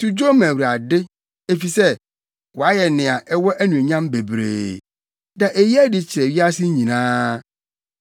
To dwom ma Awurade, efisɛ, wayɛ nea ɛwɔ anuonyam bebree. Da eyi adi kyerɛ wiase nyinaa.